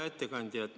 Hea ettekandja!